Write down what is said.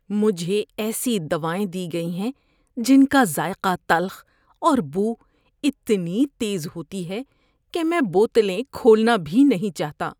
مجھے ایسی دوائیں دی گئی ہیں جن کا ذائقہ تلخ اور بو اتنی تیز ہوتی ہے کہ میں بوتلیں کھولنا بھی نہیں چاہتا۔